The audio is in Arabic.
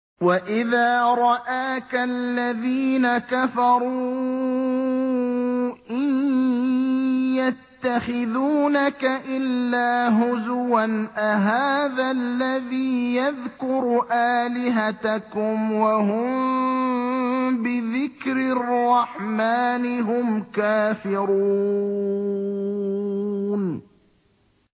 وَإِذَا رَآكَ الَّذِينَ كَفَرُوا إِن يَتَّخِذُونَكَ إِلَّا هُزُوًا أَهَٰذَا الَّذِي يَذْكُرُ آلِهَتَكُمْ وَهُم بِذِكْرِ الرَّحْمَٰنِ هُمْ كَافِرُونَ